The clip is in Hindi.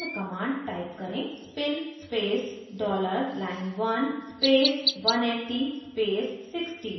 spin $line1 180 60 spin space dollar line1 1 space 180 space 60